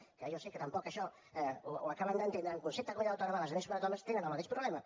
que jo sé que tampoc això ho acaben d’entendre en concepte de comunitat autònoma la resta de comunitats autònomes tenen el mateix problema